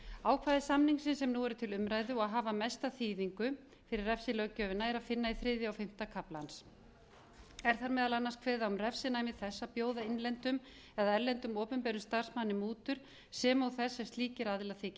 ákvæði samningsins sem nú er til umræðu og hafa mesta þýðingu fyrir refsilöggjöfina er að finna í þriðja og fimmta kafla er þar meðal annars kveðið á um refsinæmi þess að bjóða innlendum eða erlendum opinberum starfsmanni mútur sem og þess sem slíkir aðilar þiggja